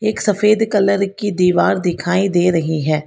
एक सफेद कलर की दीवार दिखाई दे रही है।